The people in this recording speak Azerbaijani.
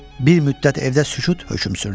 Bir müddət evdə sükut hökm sürdü.